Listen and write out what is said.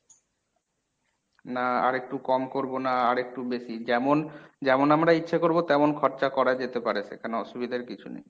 না আরেকটু কম করবো না আরেকটু বেশি? যেমন যেমন আমরা ইচ্ছে করবো তেমন খরচা করা যেতে পারে সেখানে অসুবিধার কিছু নেই।